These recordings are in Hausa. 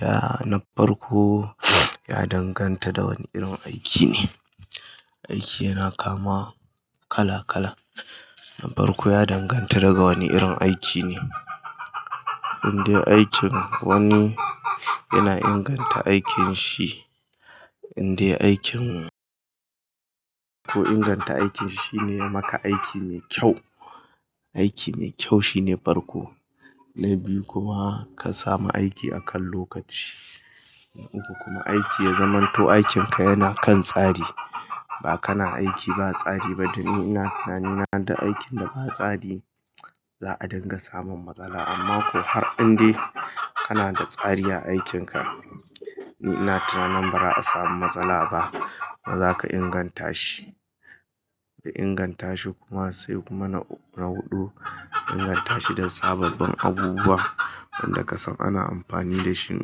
Ya na farko ya danganta da wane irin aiki ne. Aiki yana kama kala kala. Na farko ya danganta daga wane irin aiki ne. Inde aikin wani yana inganta aikin shi, inda aikin ku inganta aikin shi ne ya maka aiki ne kyau. Aiki ne kyau shine farko. Na biyu kuma ka samu aiki akan lokaci. Na uku kuma aiki ya zamanto aikinka yana kan tsari. Ba kana aiki ba tsari ba domin ina tunanin wanda aikin da ba tsari za a dunga samun matsala. Amma ko har indai kana da tsari a aikinka ni ina tunanin ba za a samu matsala ba. Ba za ka inganta shi. Ka inganta shi kuma sai kuma na huɗu inganta shi da sababbin abubuwa wanda ka san ana amfani da shi.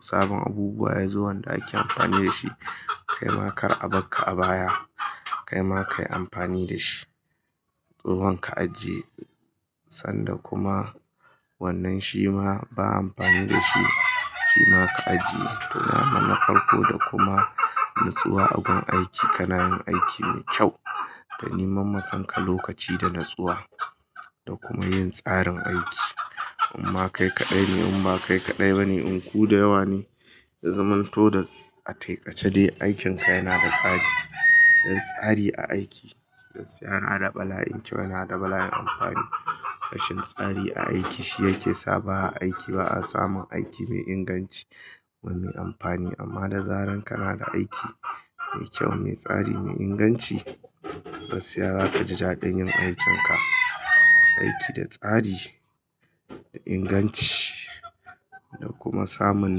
Sabon abubuwa ya zo wanda ake amfani da shi. Kai ma kar a barka a baya. Kai ma kayi amfani da shi. Domin ka ajiye sanda kuma wannan shi ma ba amfani da shi shi ma ka ajiye. To wannan na farko da kuma nutsuwa a gun aiki kanayin aiki mai kyau da niman makanka lokaci da natsuwa da kuma yin tsarin aiki. Amma kai kaɗai ne in ba kai kaɗai bane in ku da yawa ne ya zamanto da a taƙaice dai aikinka yana da tsari. Da tsari a aiki gaskiya yana da bala'in kyau yana da bala'in amfani. Rashin tsari a aiki shi yake sa ba a aiki ba a samun aiki mai inganci kuma mai amfani. Amma da zarar kana da aiki mai kyau, mai tsari, mai inganci gaskiya za ka ji daɗin yin aikin ka. Aiki da tsari, da inganci da kuma samun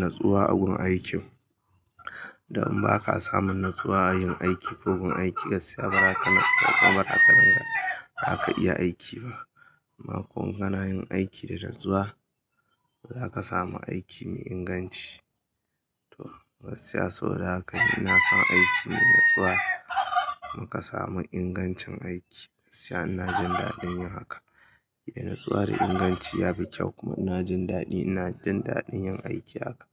natsuwa a gun aikin. Da in ba ka samun natsuwa a yin aiki ko gun aiki gaskiya ba za ka dinga, ba zaka iya aiki ba. Amma ko kanayin aiki da natsuwa za ka samu aiki mai inganci. To gaskiya saboda haka ina son aiki mai natsuwa kuma ka samu ingancin aiki gaskiya ina jin daɗin yin haka. Da natsuwa da inganci ya fi kyau kuma ina jin daɗi ina jin daɗin yin aiki haka.